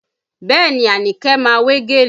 Bẹẹ ni Anike ma wé gèlè